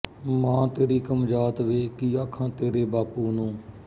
ਮਾਂ ਤੇਰੀ ਕਮਜਾਤ ਵੇ ਕੀ ਆਖਾਂ ਤੇਰੇ ਬਾਪੂ ਨੂੰ